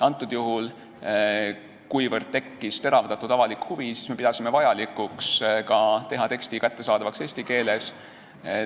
Antud juhul, kuivõrd tekkis teravdatud avalik huvi, me pidasime vajalikuks teha tekst kättesaadavaks ka eesti keeles.